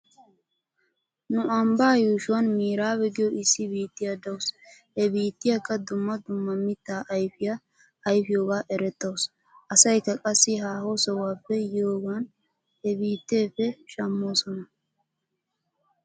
Nu ambbaa yuushuwan miraabe giyoo issi biittiyaa daws. He biittiyaaka dumma dumma mittaa ayfiyaa ayfiyooga erettaws. Asaykka qassi haaho sohuwaappe yiyoogan he biitteeppe shamooson.